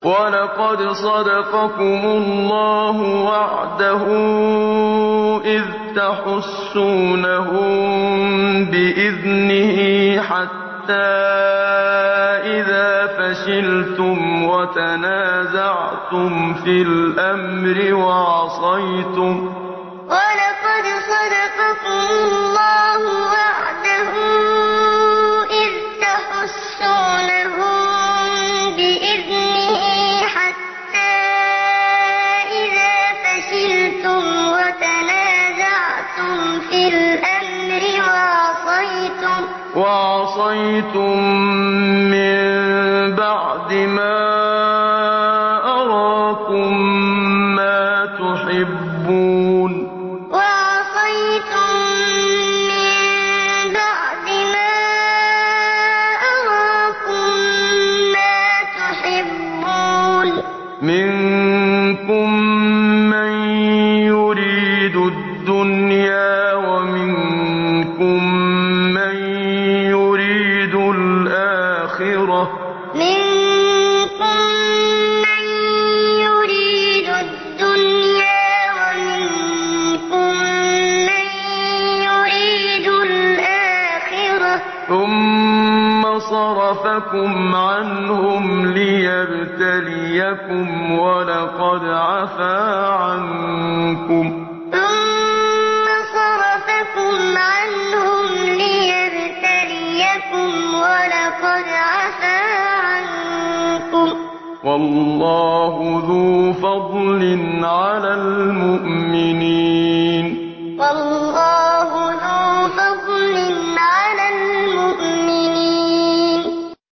وَلَقَدْ صَدَقَكُمُ اللَّهُ وَعْدَهُ إِذْ تَحُسُّونَهُم بِإِذْنِهِ ۖ حَتَّىٰ إِذَا فَشِلْتُمْ وَتَنَازَعْتُمْ فِي الْأَمْرِ وَعَصَيْتُم مِّن بَعْدِ مَا أَرَاكُم مَّا تُحِبُّونَ ۚ مِنكُم مَّن يُرِيدُ الدُّنْيَا وَمِنكُم مَّن يُرِيدُ الْآخِرَةَ ۚ ثُمَّ صَرَفَكُمْ عَنْهُمْ لِيَبْتَلِيَكُمْ ۖ وَلَقَدْ عَفَا عَنكُمْ ۗ وَاللَّهُ ذُو فَضْلٍ عَلَى الْمُؤْمِنِينَ وَلَقَدْ صَدَقَكُمُ اللَّهُ وَعْدَهُ إِذْ تَحُسُّونَهُم بِإِذْنِهِ ۖ حَتَّىٰ إِذَا فَشِلْتُمْ وَتَنَازَعْتُمْ فِي الْأَمْرِ وَعَصَيْتُم مِّن بَعْدِ مَا أَرَاكُم مَّا تُحِبُّونَ ۚ مِنكُم مَّن يُرِيدُ الدُّنْيَا وَمِنكُم مَّن يُرِيدُ الْآخِرَةَ ۚ ثُمَّ صَرَفَكُمْ عَنْهُمْ لِيَبْتَلِيَكُمْ ۖ وَلَقَدْ عَفَا عَنكُمْ ۗ وَاللَّهُ ذُو فَضْلٍ عَلَى الْمُؤْمِنِينَ